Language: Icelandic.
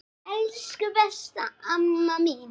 Elsku, besta amma mín.